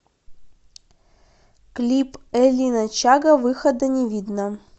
клип элина чага выхода не видно